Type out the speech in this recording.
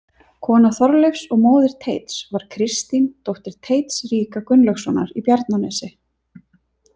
Kona Þorleifs og móðir Teits var Kristín, dóttir Teits ríka Gunnlaugssonar í Bjarnanesi.